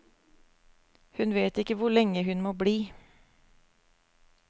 Hun vet ikke hvor lenge hun må bli.